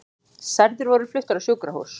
Særðir voru fluttir á sjúkrahús